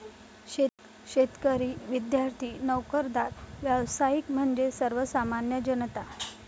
शेतकरी, विद्यार्थी, नोकरदार, व्यावसायिक म्हणजेच सर्वसामान्य जनता!